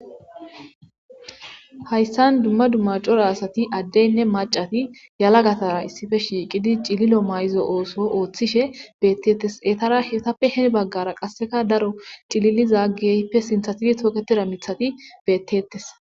Hayssan dumma dumma cora asati addeynne macati yalagatara issife shiiqidi cililo mayzo ooso ooththishe beettettes etara hewtappe hen baggara qasseka daro cililiza geyppe sinthatidi tooketida mithati bettetes.